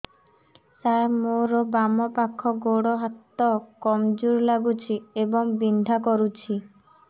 ସାର ମୋର ବାମ ପାଖ ଗୋଡ ହାତ କମଜୁର ଲାଗୁଛି ଏବଂ ବିନ୍ଧା କରୁଛି